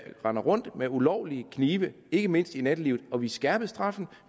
render rundt med ulovlige knive ikke mindst i nattelivet og vi skærpede straffen